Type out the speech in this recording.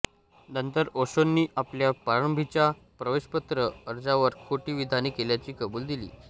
नंतर ओशोंनी आपल्या प्रारंभीच्या प्रवेशपत्र अर्जावर खोटी विधाने केल्याची कबुली दिली